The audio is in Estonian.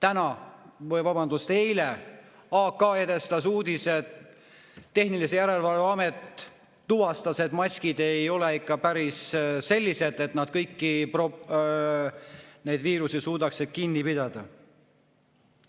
Eile "Aktuaalne kaamera" edastas uudise, et tehnilise järelevalve amet tuvastas, et maskid ei ole ikka päris sellised, et nad kõiki neid viirusi suudaks kinni pidada.